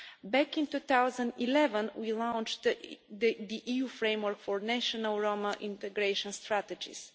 Back in 2011, we launched the EU Framework for National Roma Integration Strategies.